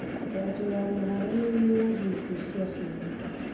Njanjo ya mũhare nĩĩnyihagia ikuũ cia ciana